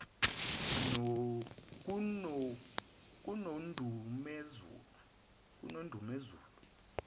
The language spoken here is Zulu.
konondumezulu